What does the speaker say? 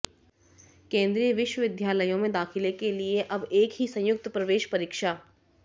केंद्रीय विश्वविद्यालयों में दाखिले के लिए अब एक ही संयुक्त प्रवेश परीक्षा